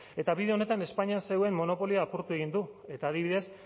eta bide honetan espainian zegoen monopolio apurtu egin du eta adibidez